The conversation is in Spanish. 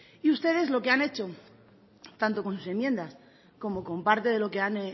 y ustedes lo que han hecho tanto con sus enmiendas como con parte de lo que han